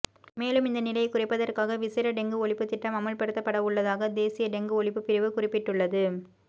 மேலும் இந்த நிலையை குறைப்பதற்காக விசேட டெங்கு ஒழிப்பு திட்டம் அமுல்படுத்தவுள்ளதாக தேசிய டெங்கு ஒழிப்பு பிரிவு குறிப்பிட்டுள்ளது